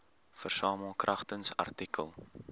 versamel kragtens artikel